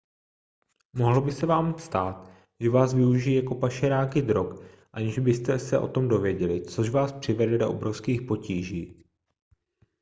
mohlo by se vám stát že váš využijí jako pašeráky drog aniž byste o tom věděli což vás přivede do obrovských potíží